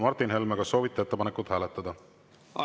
Martin Helme, kas soovite ettepanekut hääletada?